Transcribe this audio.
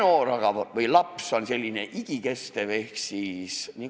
Meil aga on laps selline igikestev staatus.